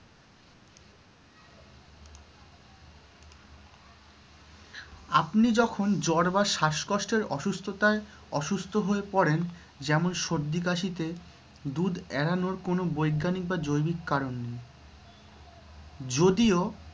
আপনি যখন জ্বর বা শ্বাসকষ্টের অসুস্থতায় অসুস্থ হয়ে পড়েন যেমন সর্দি-কাশিতে দুধ এড়ানোর কোনো বৈজ্ঞানিক বা জৈবিক কারণ নেই।